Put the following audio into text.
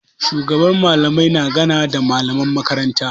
Shugaban Mallamai na ganawa da malaman makaranta.